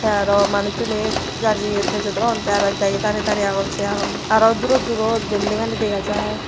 te aro manucchuney jajeyet bejodon te aro ek daagi darey darey agon sei agon aro durot durot beldingani degajai.